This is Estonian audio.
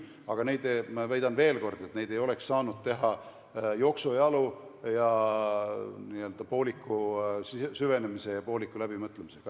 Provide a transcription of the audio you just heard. Aga ma väidan veel kord, et neid ei oleks saanud teha jooksujalu, n-ö pooliku süvenemise ja pooliku läbimõtlemisega.